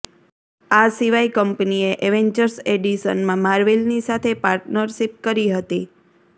આ સિવાય કંપનીએ એવેન્જર્સ એડિશનમાં માર્વેલની સાથે પાર્ટનરશિપ કરી હતી